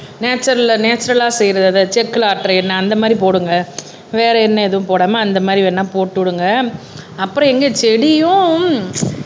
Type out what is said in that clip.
நேச்சரல்லா நேச்சரல்லா செய்யறது அதை செக்குல ஆட்டுற எண்ணெய் அந்த மாறி போடுங்க வேற எண்ணெய் எதுவும் போடாம அந்த மாறி வேணா போட்டு விடுங்க அப்புறம் எங்க செடியும்